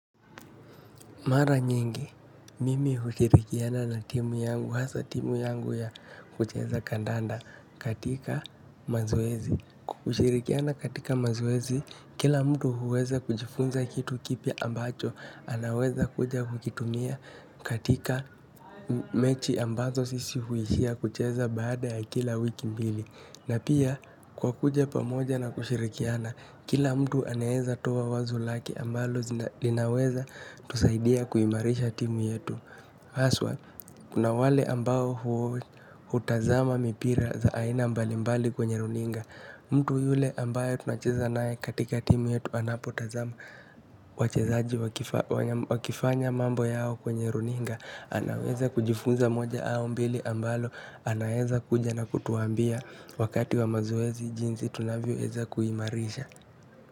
Mara nyingi, mimi hushirikiana na timu yangu, hasa timu yangu ya kucheza kandanda katika mazoezi. Kushirikiana katika mazoezi, kila mtu huweza kujifunza kitu kipya ambacho, anaweza kuja kukitumia katika mechi ambazo sisi huishia kucheza baada ya kila wiki mbili. Na pia kwa kuja pamoja na kushirikiana, kila mtu anaeza toa wazo lake ambalo zina linaweza tusaidia kuimarisha timu yetu. Haswa kuna wale ambao hu hutazama mipira za aina mbali mbali kwenye mpira mtu yule ambaye tunacheza naye katika timu yetu anapotazama wachezaji wakifanya mambo yao kwenye runinga. Anaweza kujifunza moja au mbili ambalo, anaweza kuja na kutuambia wakati wa mazoezi jinsi tunavyoweza kuimarisha.